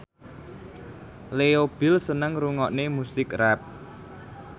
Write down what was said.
Leo Bill seneng ngrungokne musik rap